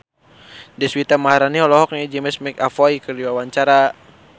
Deswita Maharani olohok ningali James McAvoy keur diwawancara